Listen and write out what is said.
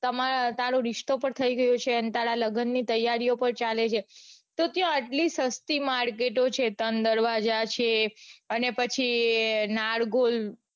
તમાર તારો રીસ્તો પણ થઇ ગયો છે અન તારા લગનની તૈયારી પણ ચાલે છે તો ત્યાં આટલી સસ્તી market છે ત્રણ દરવાજા છે અને પછી નારગોલ